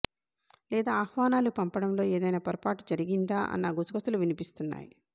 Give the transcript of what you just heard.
లేదా ఆహ్వానాలు పంపడంలో ఏదయినా పొరపాటు జరిగిందా అన్న గుసగుసలు వినిపిస్తున్నాయి